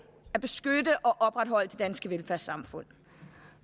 at beskytte og opretholde det danske velfærdssamfund